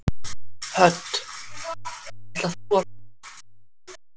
Hödd: Ætlar þú að hlaupa?